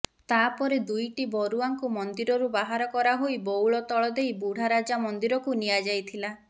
ତାପରେ ଦୁଇଟିବରୁଆଙ୍କୁ ମନ୍ଦିରରୁ ବାହାର କରାହୋଇ ବଉଳ ତଳ ଦେଇ ବୁଢ଼ା ରଜା ମନ୍ଦିରକୁ ନିଆ ଯାଇଥିଲା